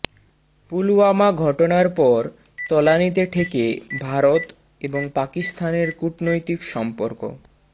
পুলওয়ামা ঘটনার পর তলানিতে ঠেকে ভারত এবং পাকিস্তানের কূটনৈতিক সম্পর্ক